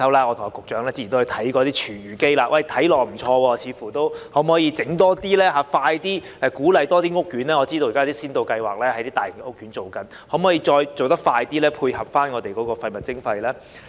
我和局長之前都看過一些廚餘機，看起來似乎不錯，可否多提供這類設施，盡快鼓勵更多屋苑採用，我知道現時一些大型屋苑正在實施先導計劃，可否再做得快點，配合廢物徵費呢？